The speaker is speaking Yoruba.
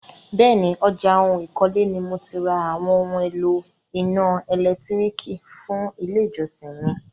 Bẹ́ẹ̀ni, ọjà oun ìkọ́lé ni mo ti ra àwọn oún èlò iná ẹ̀lẹ́tírìkì fún ilé ìjọsìn mi.